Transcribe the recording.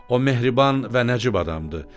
O mehriban və nəcib adamdır.